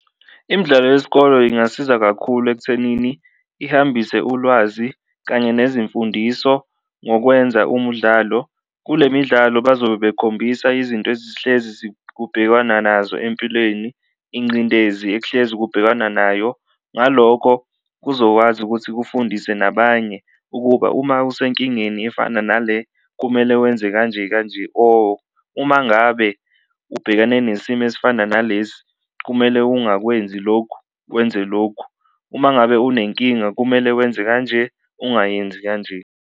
Imidlalo yesikolo ingasiza kakhulu ekuthenini ihambise ulwazi kanye nezimfundiso ngokwenza umudlalo, kule midlalo bazobe bekhombisa izinto ezihlezi kubhekanwa nazo empilweni, inqindezi ekuhlezi kubhekanwa nayo. Ngaloko kuzokwazi ukuthi kufundise nabanye ukuba uma usenkingeni efana nale kumele wenze kanje kanje, or uma ngabe ubhekene nesimo esifana nalesi kumele ungakwenzi lokhu wenze lokhu, uma ngabe unenkingabkumele wenze kanje ungayenzi kanje.